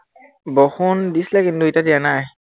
বৰষুণ দিছিলে কিন্তু এতিয়া দিয়া নাই।